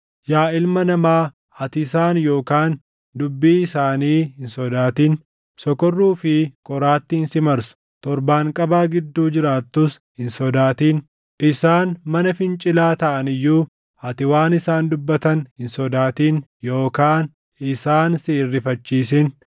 Yaa ilma namaa, ati isaan yookaan dubbii isaanii hin sodaatin. Sokorruu fi qoraattiin si marsus, torbaanqabaa gidduu jiraattus hin sodaatin. Isaan mana fincilaa taʼan iyyuu ati waan isaan dubbatan hin sodaatin yookaan isaan si hin rifachiisin.